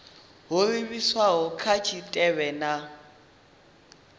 ho livhiswaho kha tshitshavha na